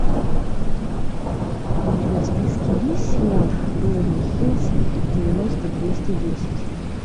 у тебя в списке есть сериал беверли хиллз девяносто двести десять